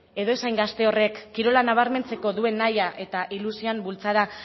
edo ez hain gazte horrek kirola nabarmentzeko duen naia eta ilusioen bultzada